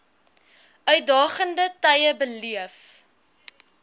uitdagende tye beleef